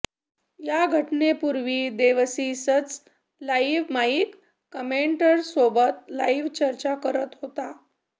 याघटनेपूर्वी देवसीच live mic कमेंटेटर्ससोबत live चर्चा करत होता